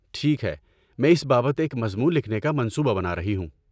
ٹھیک ہے، میں اس بابت ایک مضمون لکھنے کا منصوبہ بنا رہی ہوں۔